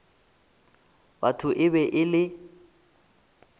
batho e be e le